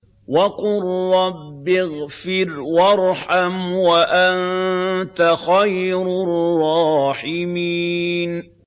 وَقُل رَّبِّ اغْفِرْ وَارْحَمْ وَأَنتَ خَيْرُ الرَّاحِمِينَ